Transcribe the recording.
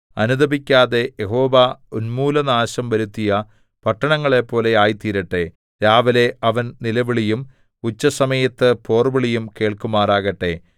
അനുതപിക്കാതെ യഹോവ ഉന്മൂലനാശം വരുത്തിയ പട്ടണങ്ങളെപ്പോലെ ആയിത്തീരട്ടെ രാവിലെ അവൻ നിലവിളിയും ഉച്ചസമയത്ത് പോർവിളിയും കേൾക്കുമാറാകട്ടെ